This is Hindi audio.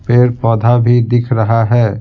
पेड़-पौधा भी दिख रहा है।